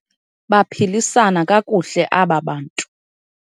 Baphilisana kakuhle aba bantu.